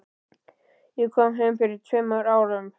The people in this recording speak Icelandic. Ég kom heim fyrir tveimur árum.